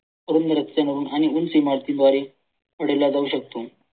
ह्यांनी उंच इमारतींद्वारे उडला जाऊ शकतो.